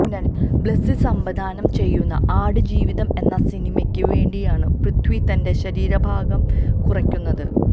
ബ്ലെസി സംവിധാനം ചെയ്യുന്ന ആട് ജീവിതം എന്ന സിനിമയ്ക്ക് വേണ്ടിയാണ് പൃഥ്വി തന്റെ ശരീരഭാരം കുറയ്ക്കുന്നത്